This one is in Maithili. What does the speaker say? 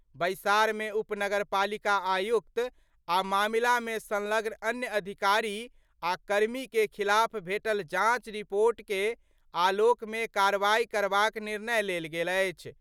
बैसार मे उपनगरपालिका आयुक्त आ मामला मे संलग्न अन्य अधिकारी आ कर्मी के खिलाफ भेटल जांच रिपोर्ट के आलोक मे कार्रवाई करबाक निर्णय लेल गेल अछि।